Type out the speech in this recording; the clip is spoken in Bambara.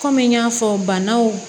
Kɔmi n y'a fɔ banaw